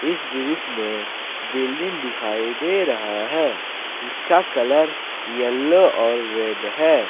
इस दृश्य में बिल्डिंग दिखाई दे रहा है जिसका कलर येलो और रेड है।